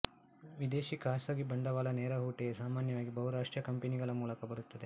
ವಿದೇಶಿ ಖಾಸಗಿ ಬಂಡವಾಳ ನೇರಹೂಟೆಯು ಸಾಮಾನ್ಯವಾಗಿ ಬಹುರಾಷ್ಟ್ರೀಯ ಕಂಪನಿಗಳ ಮೂಲಕ ಬರುತ್ತದೆ